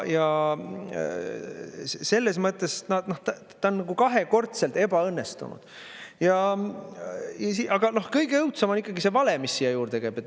Ja selles mõttes ta on kahekordselt ebaõnnestunud Aga kõige õudsem on see vale, mis siia juurde käib.